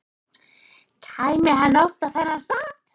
Kæmi hann oft á þennan stað?